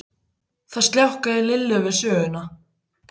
Það sljákkaði í Lillu við söguna.